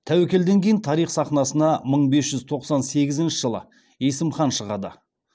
тәуекелден кейін тарих сахнасына мың бес жүз тоқсан сегізінші жылы есім хан шығады